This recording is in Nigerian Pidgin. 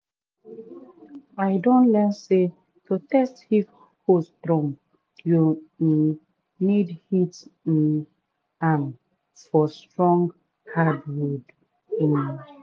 i don learn say to test if hoe strong you um need hit um am for strong hardwood. um